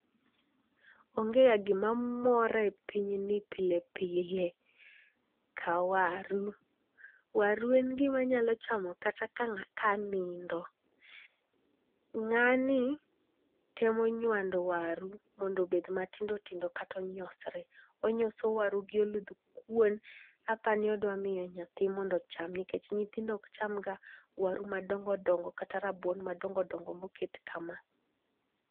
Onge ga gimamora e pinyni pile pile ka waru. Waru en gima anyalo chamo kata ka anindo. Ng'ani temo nywando waru mondo obed matindotindo kata onyosre. Onyoso waru gi oluth kuon apa ni odwa mi nyathi mondo ocham nikech nyithindo ok chamga waru madongo dongo kata rabuon madongo dongo moket kama.